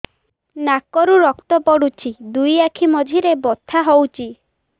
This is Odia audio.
ନାକରୁ ରକ୍ତ ପଡୁଛି ଦୁଇ ଆଖି ମଝିରେ ବଥା ହଉଚି